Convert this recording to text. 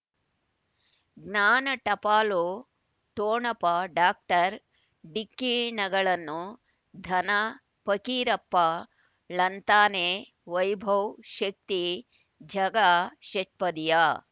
ಜ್ಞಾನ ಟಪಾಲು ಠೊಣಪ ಡಾಕ್ಟರ್ ಢಿಕ್ಕಿ ಣಗಳನು ಧನ ಪಕೀರಪ್ಪ ಳಂತಾನೆ ವೈಭವ್ ಶಕ್ತಿ ಝಗಾ ಷಟ್ಪದಿಯ